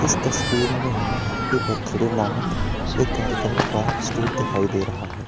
इस तस्वीर में हमें हैप्पी बर्थडे नामक एक कार्यक्रम का स्टेज दिखाई दे रहा है।